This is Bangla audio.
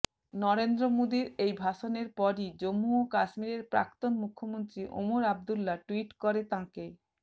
নরেন্দ্র মোদীর এই ভাষণের পরই জম্মু ও কাশ্মীরের প্রাক্তন মুখ্যমন্ত্রী ওমর আবদুল্লা টুইট করে তাঁকে